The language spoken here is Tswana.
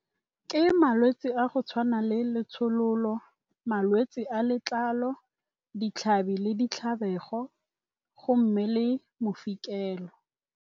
Ke malwetse a go tshwana le letshololo, malwetse a letlalo, ditlhabi le ditlhabelo go mme le mofikelo.